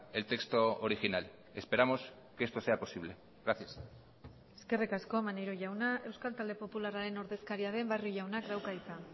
el texto original esperamos que esto sea posible gracias eskerrik asko maneiro jauna euskal talde popularraren ordezkaria den barrio jaunak dauka hitza